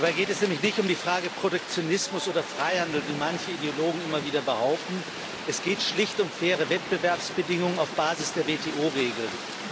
Dabei geht es nämlich nicht um die Frage Protektionismus oder Freihandel, wie manche Ideologen immer wieder behaupten, sondern es geht schlicht um faire Wettbewerbsbedingungen auf Basis der WTO Regeln.